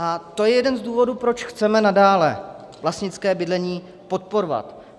A to je jeden z důvodů, proč chceme nadále vlastnické bydlení podporovat.